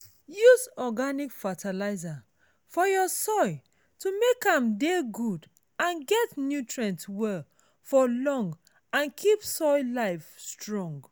use organic fertilizer for your soil to make am dey good and get nutrient well for long and keep soil life strong